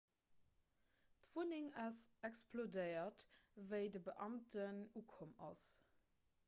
d'wunneng ass explodéiert wéi de beamten ukomm ass